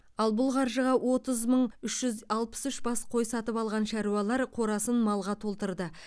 ал бұл қаржыға отыз мың үш жүз алпыс үш бас қой сатып алған шаруалар қорасын малға толтырды